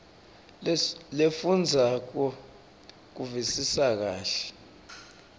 lefundvwako ukuvisisa kahle